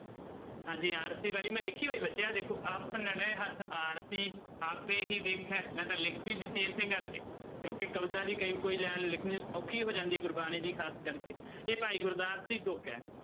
ਹਾਂਜੀ ਆਰਸੀ ਵਾਲੀ ਮੈਂ ਲਿਖੀ ਹੋਈ ਬੱਚੇ ਆਹ ਦੇਖੋ ਆਪਨੜੇ ਹੱਥ ਆਰਸੀ ਆਪੇ ਹੀ ਵੇਖੈ ਮੈਂ ਤਾਂ ਲਿਖ ਵੀ ਦਿੱਤੀ ਇਸੇ ਕਰਕੇ ਕਿਉਂਕਿ ਕਵਿਤਾ ਦੀ ਕਈ ਕੋਈ line ਲਿਖਣੀ ਔਖੀ ਹੋ ਜਾਂਦੀ ਗੁਰਬਾਣੀ ਦੀ ਖ਼ਾਸ ਕਰਕੇ ਇਹ ਭਾਈ ਗੁਰਦਾਸ ਦੀ ਤੁੱਕ ਹੈ।